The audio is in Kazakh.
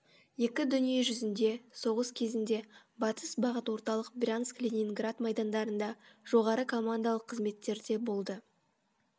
екі дүниежүзінде соғыс кезінде батыс бағыт орталық брянск ленинград майдандарында жоғары командалық қызметтерде болды